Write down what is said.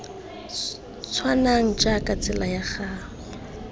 tshwanang jaaka tsela ya go